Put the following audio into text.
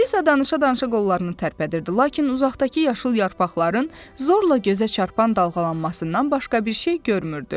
Alisa danışa-danışa qollarını tərpədirdi, lakin uzaqdakı yaşıl yarpaqların zorla gözə çarpan dalğalanmasından başqa bir şey görmürdü.